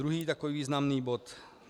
Druhý takový významný bod.